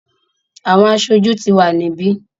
àwọn aṣojú ti wà níbí.